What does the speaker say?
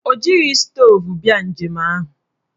O jighị stoovu bịa njem ahụ.